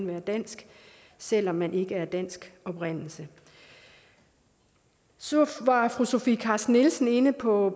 være dansk selv om man ikke er af dansk oprindelse så var fru sofie carsten nielsen inde på